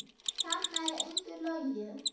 Þarna er engu logið.